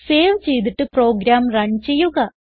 save ചെയ്തിട്ട് program run ചെയ്യുക